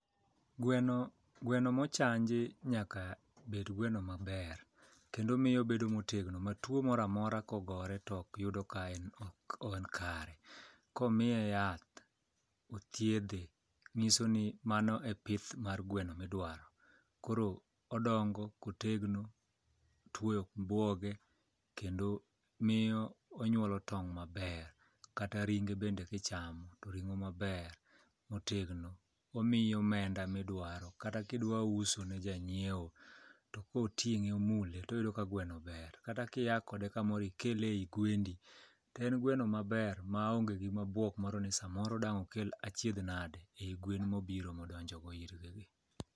Gweno mochanji nyaka bed gweno maber kendo miyo bedo motegno ma tuo moro amora kogore to yudo ka en kare, komiye yath othiedhe ng'iso ni mano e pith mar gweno midwaro koro odongo kotegno tuo ok buoge kendo miyo onyuolo tong' maber kata ringe bende kichamo to ring'o maber motegno, omiyi omenda midwaro kata kidwa uso ne janyieo to koting'e omule toyudo ka gweno ber, kata kia kode kamoro ikele e i gwendi, to en gweno maber maonge gi buok moro ni samoro dang' okel achiedh nade e i gwen mobiro modonjogo irgi gi.